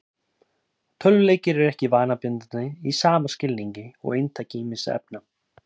Tölvuleikir eru ekki vanabindandi í sama skilningi og inntaka ýmissa efna.